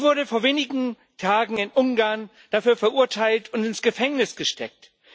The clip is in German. Sie wurde vor wenigen Tagen in Ungarn dafür verurteilt und ins Gefängnis gesteckt.